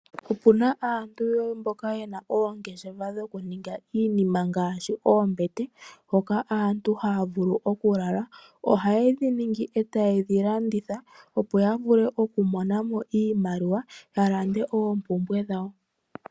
Opuna aantu mboka yena oongeshefa dho kuninga iinima ngaashi oombete, hoka aantu haya vulu oku lala. Oha ye dhiningi, eta ye dhilanditha opo ya vule oku monamo iimaliwa, ya lande oompumbwe dhawo.